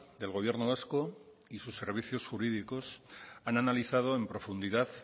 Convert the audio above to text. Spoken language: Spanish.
del gobierno vasco y sus servicios jurídicos han analizado en profundidad